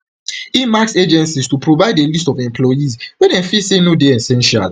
im ask agencies to provide a list of employees wey dem feel say no dey essential